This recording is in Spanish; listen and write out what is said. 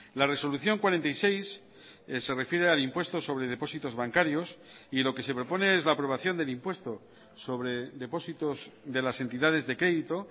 la resolución cuarenta y seis se refiere al impuesto sobre depósitos bancarios y lo que se propone es la aprobación del impuesto sobre depósitos de las entidades de crédito